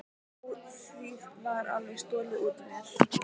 Ó, því var alveg stolið úr mér.